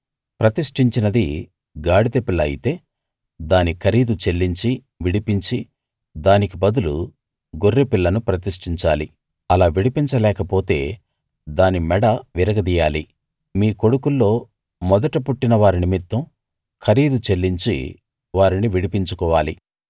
ప్రతిష్ఠించినది గాడిద పిల్ల అయితే దాని ఖరీదు చెల్లించి విడిపించి దానికి బదులు గొర్రెపిల్లను ప్రతిష్ఠించాలి అలా విడిపించలేకపోతే దాని మెడ విరగదీయాలి మీ కొడుకుల్లో మొదట పుట్టిన వారి నిమిత్తం ఖరీదు చెల్లించి వారిని విడిపించుకోవాలి